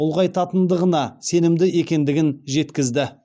ұлғайтатындығына сенімді екендігін жеткізді